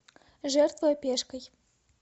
жертвуй пешкой